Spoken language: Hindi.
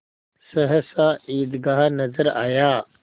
सहसा ईदगाह नजर आया